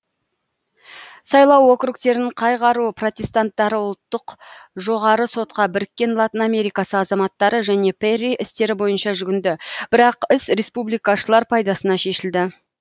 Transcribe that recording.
сайлау округтерін қай қару протестанттары ұлттық жоғары сотқа біріккен латын америкасы азаматтары және перри істері бойынша жүгінді бірақ іс республикашылар пайдасына шешілді